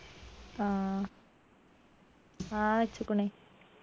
ആ ആ വെച്ചുക്കുണി